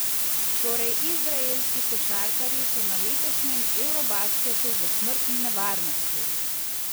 Torej izraelski košarkarji so na letošnjem eurobasketu v smrtni nevarnosti!